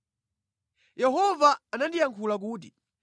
Yehova anandiyankhula kuti: